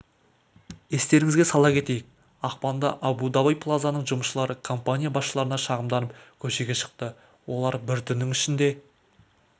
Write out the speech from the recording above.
естеріңізге сала кетейік ақпанда абу-даби плазаның жұмысшылары компания басшыларына шағымданып көшеге шықты олар бір түннің ішінде